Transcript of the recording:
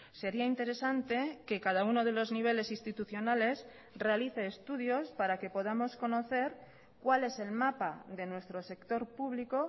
sería interesante que cada uno de los niveles institucionales realice estudios para que podamos conocer cuál es el mapa de nuestro sector público